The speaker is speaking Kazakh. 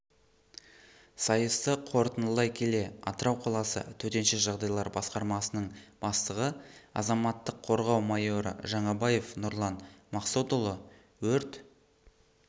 сайысты қорытындылай келе атырау қаласы төтенше жағдайлар басқармасының бастығы азаматтық қорғау майоры жаңабаев нұрлан мақсотұлы өрт